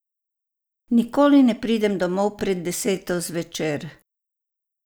Nikoli ne pridem domov pred deseto zvečer.